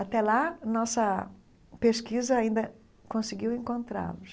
Até lá, nossa pesquisa ainda conseguiu encontrá-los.